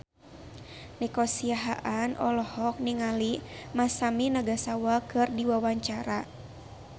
Nico Siahaan olohok ningali Masami Nagasawa keur diwawancara